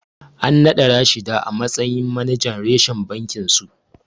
An naɗa Rashida a matsayin manajan reshen bakinsu.